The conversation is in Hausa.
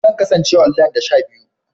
Zan kasance online da sha biyu